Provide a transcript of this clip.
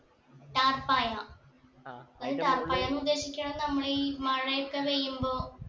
താർപ്പായ അത് താർപ്പായ ഉദ്ദേശിക്കാന്ള്ള നമ്മളെ ഈ മഴ ഒക്കെ വെയ്യുമ്പോ